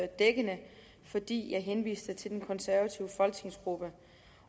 dækkende fordi jeg henviste til den konservative folketingsgruppe